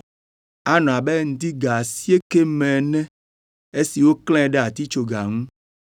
Anɔ abe ŋdi ga asiekɛ me ene esi woklãe ɖe atitsoga ŋu.